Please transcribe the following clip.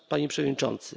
Panie Przewodniczący!